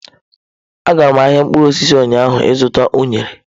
A gara m ahịa mkpụrụ osisi ụnyaahụ ịzụta unere.